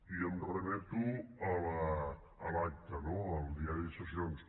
i em remeto a l’acta no al diari de sessions